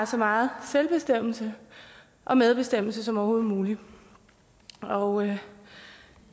så meget selvbestemmelse og medbestemmelse som overhovedet muligt og